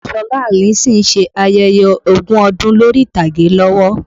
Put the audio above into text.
Ṣọlá Allyson ń ṣe ayẹyẹ ogún ọdún lórí ìtàgé lọ́wọ́